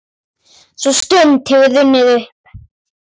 Sú stund hefur runnið upp.